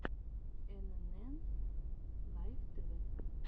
энэнэн лайф тэвэ